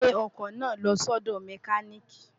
gbè ọkọ̀ náà lọ sọ́dọ̀ mẹkánị́ìkì!